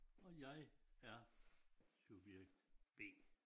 Og jeg er subjekt B